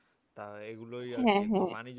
তা এগুলোই আর কি